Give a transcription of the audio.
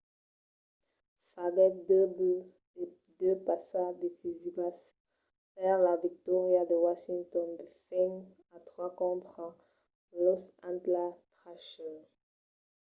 faguèt 2 buts e 2 passas decisivas per la victòria de washington de 5-3 contra los atlanta thrashers